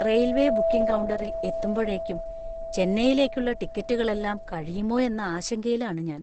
Railway booking കൗണ്ടറിൽ എത്തുമ്പഴേക്കും ചെന്നൈയിലേക്കുള്ള ടിക്കറ്റുകളെല്ലാം കഴിയുമോയെന്ന ആശങ്കയിലാണ് ഞാൻ.